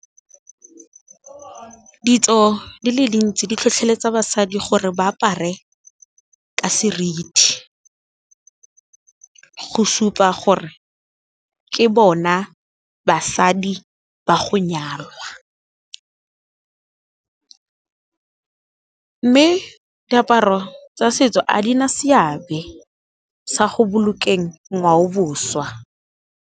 Ditso di le dintsi di tlhotlheletsa basadi gore ba apare ka seriti, go supa gore ke bona basadi ba go nyalwa. Mme diaparo tsa setso a di na seabe sa go bolokeng ngwaoboswa.